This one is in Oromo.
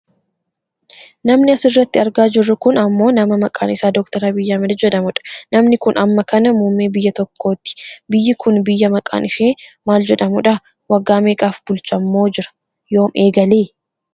Namni asirratti argaa jirru kun ammoo nama maqaan isaa Dr Abiyyi Ahmedii jedhamudha. Namni kun amma kana muummee biyya tokkooti biyyi kun biyya maqaan ishee maal jedhamudha? Waggaa meeqaaf bulchaammoo jira? Yoom eegale?